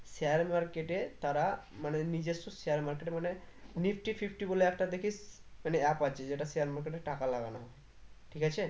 share market এ তারা মানে নিজস্ব share market এ মনে nifty fifty বলে একটা দেখিস মানে app আছে যেটা share market এ টাকা লাগানো হয়ে ঠিক আছে